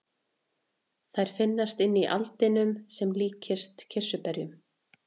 Þær finnast inni í aldinum sem líkjast kirsuberjum.